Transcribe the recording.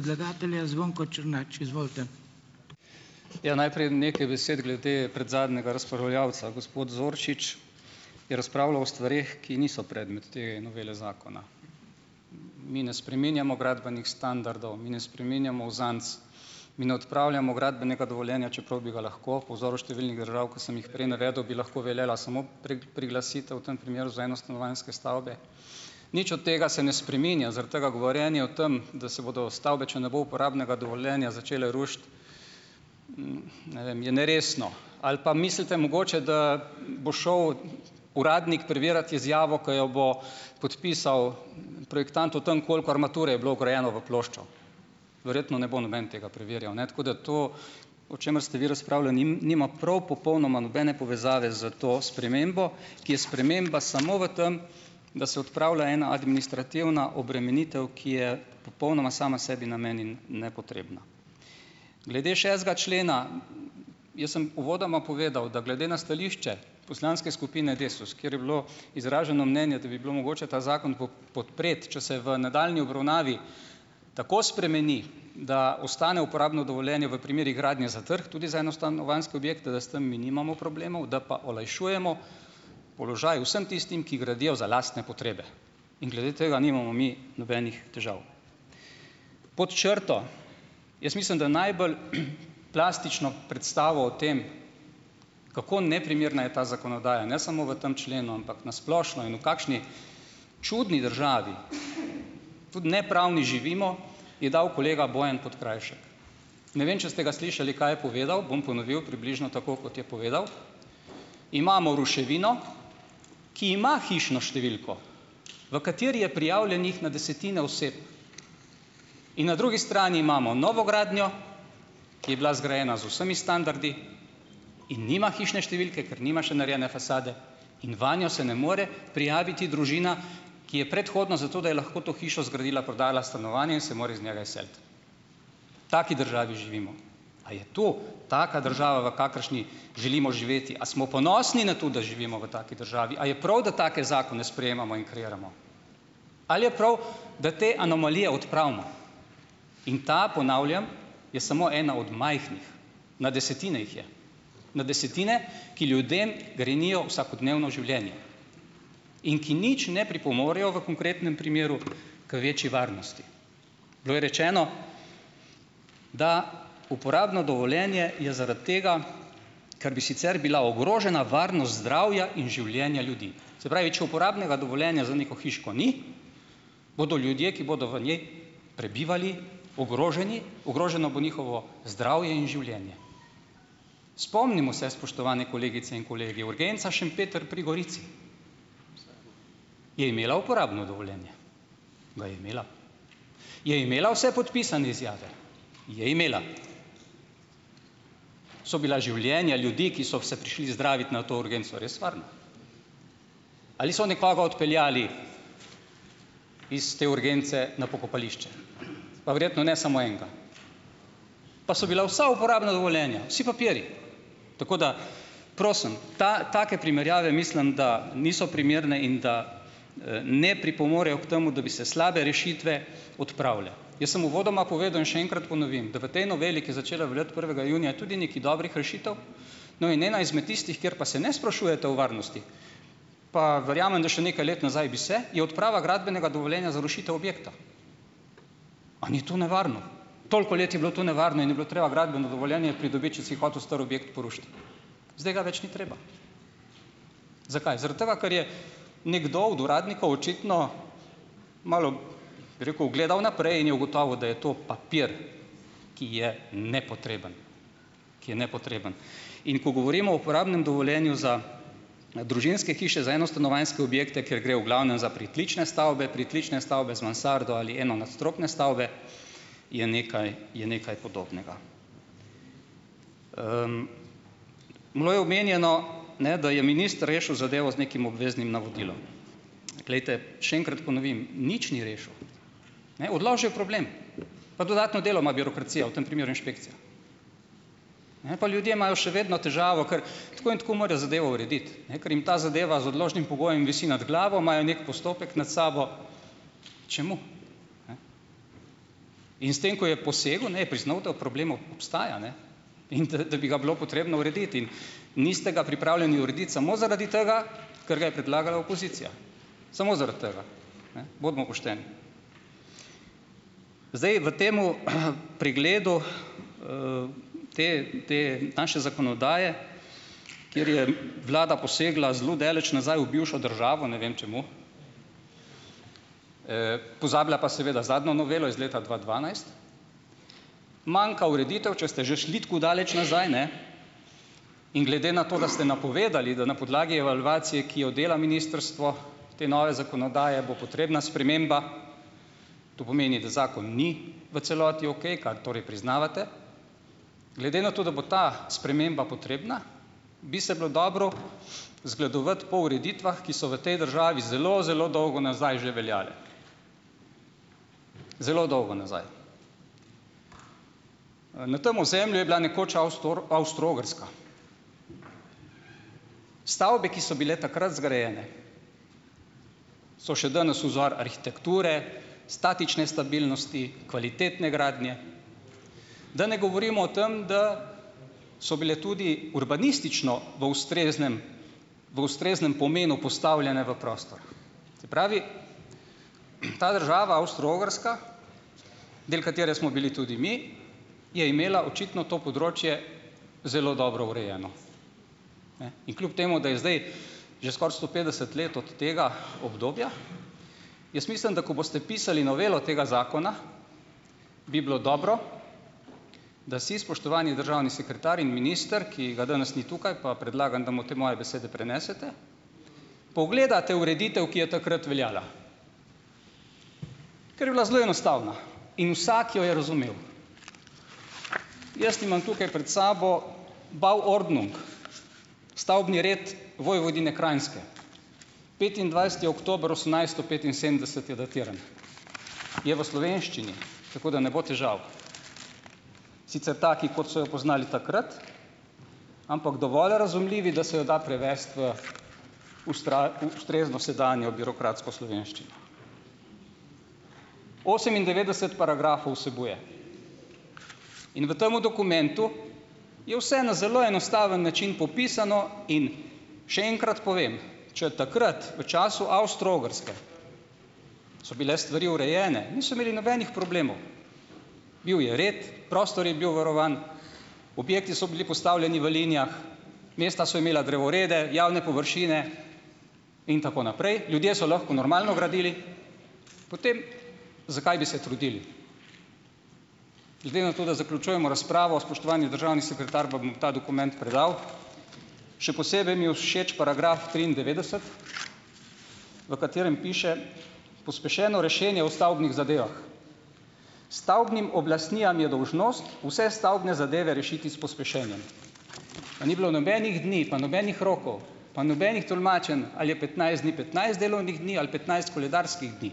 sprememba samo. Ja, najprej nekaj besed glede predzadnjega razpravljavca. Gospod Zoršič je razpravljal o stvareh, ki niso predmet te novele zakona. Mi ne spreminjamo gradbenih standardov, mi ne spreminjamo uzanc, mi ne odpravljamo gradbenega dovoljenja, čeprav bi ga lahko po vzoru številnih držav, ko sem jih prej navedel, bi lahko veljala samo priglasitev v tem primeru za enostanovanjske stavbe. Nič od tega se ne spreminja zaradi tega govorjenja o tem, da se bodo stavbe, če ne bo uporabnega dovoljenja, začele rušiti. ne vem. Je neresno. Ali pa mislite mogoče, da bo šel uradnik preverjat izjavo, ko jo bo podpisal projektant o tem, koliko armature je bilo vgrajene v ploščo. Verjetno ne bo noben tega preverjal, ne, tako da to, o čemer ste vi razpravljali, nima prav popolnoma nobene povezave s to spremembo, ki je sprememba samo v tem, da se odpravlja ena administrativna obremenitev, ki je popolnoma sama sebi namen in nepotrebna. Glede šestega člena. Jaz sem uvodoma povedal, da glede na stališče poslanske skupine Desus, kjer je bilo izraženo mnenje, da bi bilo mogoče ta zakon podpreti, če se v nadaljnji obravnavi tako spremeni, da ostane uporabno dovoljenje v primerih gradnje za trg tudi za enostanovanjske objekte, da s tem mi nimamo problemov, da pa olajšujemo položaj vsem tistim, ki gradijo za lastne potrebe. In glede tega nimamo mi nobenih težav. Pod črto jaz mislim, da najbolj plastično predstavo o tem, kako neprimerna je ta zakonodaja, ne samo v tem členu, ampak na splošno, in v kakšni čudni državi, tudi nepravni, živimo, je dal kolega Bojan Podkrajšek. Ne vem, če ste ga slišali, kaj je povedal, bom ponovil približno tako, kot je povedal: "Imamo ruševino, ki ima hišno številko, v kateri je prijavljenih na desetine oseb, in na drugi strani imamo novogradnjo, ki je bila zgrajena z vsemi standardi in nima hišne številke, ker nima še narejene fasade, in vanjo se ne more prijaviti družina, ki je predhodno, zato da je lahko to hišo zgradila, prodala stanovanje in se more iz njega izseliti." V taki državi živimo. A je to taka država, v kakršni želimo živeti? A smo ponosni na to, da živimo v taki državi? A je prav, da take zakone sprejemamo in kreiramo? Ali je prav, da te anomalije odpravimo? In ta, ponavljam, je samo ena od majhnih. Na desetine jih je. Na desetine, ki ljudem grenijo vsakodnevno življenje in ki nič ne pripomorejo v konkretnem primeru k večji varnosti. Bilo je rečeno, da uporabno dovoljenje je zaradi tega, ker bi sicer bila ogrožena varnost zdravja in življenja ljudi. Se pravi, če uporabnega dovoljenja za neko hiško ni, bodo ljudje, ki bodo v njej prebivali, ogroženi, ogroženo bo njihovo zdravje in življenje. Spomnimo se, spoštovane kolegice in kolegi. Urgenca Šempeter pri Gorici. Je imela uporabno dovoljenje? Ga je imela. Je imela vse podpisane izjave? Je imela. So bila življenja ljudi, ki so vse prišli zdravit na to urgenco, res varna? Ali so nekoga odpeljali iz te urgence na pokopališče? Pa verjetno ne samo enega. Pa so bila vsa uporabna dovoljenja. Vsi papirji. Tako da prosim, take primerjave, mislim, da niso primerne in da, ne pripomorejo k temu, da bi se slabe rešitve odpravile. Jaz sem uvodoma povedal in še enkrat ponovim, da v tej noveli, ki je začela veljati prvega junija, tudi nekaj dobrih rešitev. No, in ena izmed tistih, kjer pa se ne sprašujete o varnosti, pa verjamem, da še nekaj let nazaj bi se, je odprava gradbenega dovoljenja za rušitev objekta. A ni to nevarno? Toliko let je bilo to nevarno in je bilo treba gradbeno dovoljenje pridobiti, če si hotel star objekt porušiti. Zdaj ga več ni treba. Zakaj? Zaradi tega, ker je nekdo od uradnikov očitno malo, bi rekel, gledal naprej, in je ugotovil, da je to papir, ki je nepotreben, ki je nepotreben. In ko govorimo o uporabnem dovoljenju za na družinske hiše, za enostanovanjske objekte, kjer gre v glavnem za pritlične stavbe, pritlične stavbe z mansardo ali enonadstropne stavbe, je nekaj, je nekaj podobnega. Bilo je omenjeno, ne, da je minister rešil zadevo z nekim obveznim navodilom. Glejte, še enkrat ponovim: nič ni rešil, ne. Odložil je problem. Pa dodatno delo ima birokracija, v tem primeru inšpekcija, ne. Pa ljudje imajo še vedno težavo, ker tako in tako morajo zadevo urediti, ne, ker jim ta zadeva z odložnim pogojem visi nad glavo, imajo neki postopek nad sabo. Čemu, ne? In s tem, ko je posegel, ne, je priznal, da problem obstaja, ne, in da, da bi ga bilo potrebno urediti. In niste ga pripravljeni urediti samo zaradi tega, ker ga je predlagala opozicija, samo zaradi tega, ne, bodimo pošteni. Zdaj v tem pregledu, te, te naše zakonodaje, kjer je vlada posegla zelo daleč nazaj v bivšo državo, ne vem čemu, pozabila pa seveda zadnjo novelo iz leta dva dvanajst, manjka ureditev, če ste že šli tako daleč nazaj, ne, in glede na to, da ste napovedali, da na podlagi evalvacije, ki jo dela ministrstvo, te nove zakonodaje bo potrebna sprememba. To pomeni, da zakon ni v celoti okej, kar torej priznavate. Glede na to, da bo ta sprememba potrebna, bi se bilo dobro zgledovati po ureditvah, ki so v tej državi zelo, zelo dolgo nazaj že veljale, zelo dolgo nazaj. na tem ozemlju je bila nekoč Avstro-Ogrska. Stavbe, ki so bile takrat zgrajene, so še danes vzor arhitekture, statične stabilnosti, kvalitetne gradnje, da ne govorimo o tem, da so bile tudi urbanistično v ustreznem, v ustreznem pomenu postavljene v prostor. Se pravi, ta država Avstro-Ogrska, del katere smo bili tudi mi, je imela očitno to področje zelo dobro urejeno, ne. In kljub temu, da je zdaj že skoraj sto petdeset let od tega obdobja, jaz mislim, da ko boste pisali novelo tega zakona, bi bilo dobro, da si, spoštovani državni sekretar in minister, ki ga danes ni tukaj, pa predlagam, da mu te moje besede prenesete, pogledate ureditev, ki je takrat veljala, ker je bila zelo enostavna in vsako jo je razumel. Jaz imam tukaj pred sabo Bauordnung, stavbni red Vojvodine Krajnske, petindvajseti oktober osemnajststo petinsedemdeset je datiran, je v slovenščini, tako da ne bo težav, sicer taki, kot so jo poznali takrat, ampak dovolj razumljivi, da se jo da prevesti v ustrezno sedanjo birokratsko slovenščino. Osemindevetdeset paragrafov vsebuje in v tem dokumentu je vse na zelo enostaven način popisano. In še enkrat povem, če takrat v času Avstro-Ogrske so bile stvari urejene, niso imeli nobenih problemov, bil je red, prostor je bil varovan, objekti so bili postavljeni v linijah, mesta so imela drevorede, javne površine in tako naprej, ljudje so lahko normalno gradili, potem zakaj bi se trudili. Glede na to, da zaključujemo razpravo, spoštovani državni sekretar, vam bom ta dokument predal. Še posebej mi je všeč paragraf triindevetdeset, v katerem piše: "Pospešeno rešenje o stavbnih zadevah. Stavbnim oblastnijam je dolžnost vse stavbne zadeve rešiti s pospešenjem." Pa ni bilo nobenih dni, pa nobenih rokov, pa nobenih tolmačenj, ali je petnajst dni petnajst delovnih dni ali petnajst koledarskih dni,